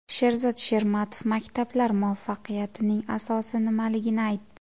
Sherzod Shermatov maktablar muvaffaqiyatining asosi nimaligini aytdi.